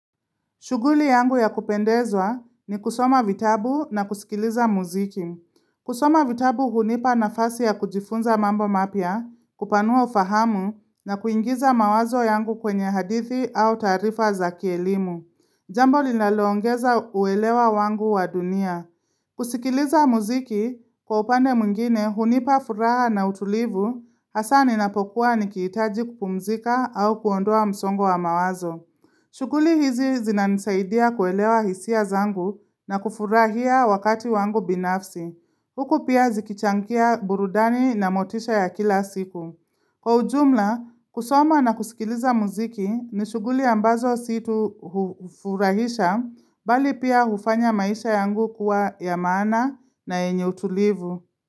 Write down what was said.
Shughuli yangu ya kupendezwa ni kusoma vitabu na kusikiliza muziki. Kusoma vitabu hunipa nafasi ya kujifunza mambo mapya, kupanua ufahamu na kuingiza mawazo yangu kwenye hadithi au taarifa za kielimu. Jambo linaloongeza uelewa wangu wa dunia. Kusikiliza muziki, kwa upande mwingine hunipa furaha na utulivu, hasaa ninapokuwa nikihitaji kupumzika au kuondoa msongo wa mawazo. Shughuli hizi zinanisaidia kuelewa hisia zangu na kufurahia wakati wangu binafsi. Huku pia zikichangia burudani na motisha ya kila siku. Kwa ujumla, kusoma na kusikiliza muziki ni shughuli ambazo si tu hufurahisha bali pia ufanya maisha yangu kuwa ya maana na yenye utulivu.